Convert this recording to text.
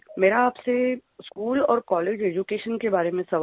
मेरा आपसे स्कूल और कॉलेज एड्यूकेशन के बारे में सवाल है